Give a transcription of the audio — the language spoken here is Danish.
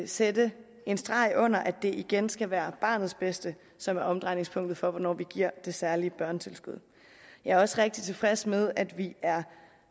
sætte en streg under at det igen skal være barnets bedste som er omdrejningspunktet for hvornår vi giver det særlige børnetilskud jeg er også rigtig tilfreds med at vi er